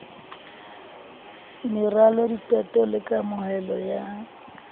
meralo diqeto le kameho ya